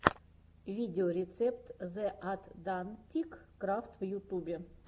видеорецепт зе атдантик крафт в ютубе